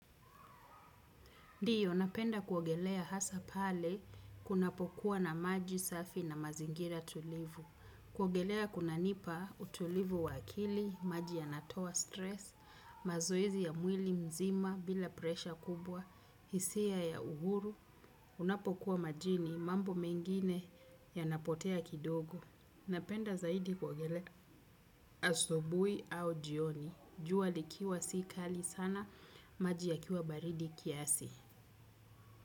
Ndiyo, napenda kuogelea hasa pale kunapokuwa na maji safi na mazingira tulivu. Kuogelea kunanipa utulivu wa akili, maji yanatowa stress, mazoezi ya mwili mzima bila presha kubwa, hisia ya uhuru, unapokuwa majini, mambo mengine yanapotea kidogo. Napenda zaidi kuogelea asubui au jioni, jua likiwa si kali sana, maji yakiwa baridi kiasi.